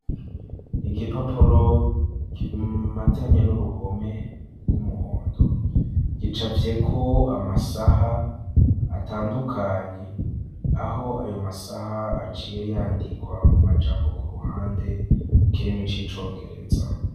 Igipapuro kimatanye n'uruhome rw'umuhondo, gicafyeko amasaha atandukanye, aho ayo masaha aciye yandikwa mu majambo ku ruhande mu kirimi c'icongereza.